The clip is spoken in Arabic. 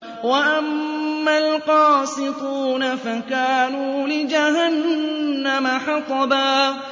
وَأَمَّا الْقَاسِطُونَ فَكَانُوا لِجَهَنَّمَ حَطَبًا